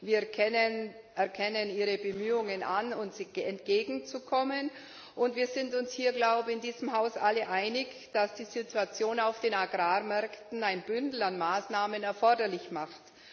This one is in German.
Wir erkennen Ihre Bemühungen an, uns entgegenzukommen, und ich glaube, wir sind uns hier in diesem Haus alle einig, dass die Situation auf den Agrarmärkten ein Bündel an Maßnahmen erforderlich macht.